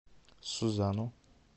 сузану